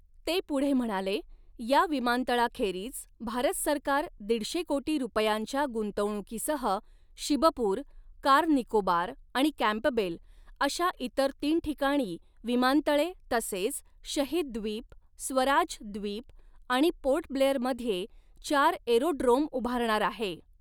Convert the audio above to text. ते पुढे म्हणाले, या विमानतळाखेरीज, भारत सरकार दीडशे कोटी रुपयांच्या गुंतवणुकीसह शिबपूर, कार निकोबार आणि कँपबेल अशा इतर तीन ठिकाणी विमानतळे तसेच शहीद द्वीप, स्वराज द्वीप आणि पोर्ट ब्लेयर मध्ये चार एरोड्रोम उभारणार आहे.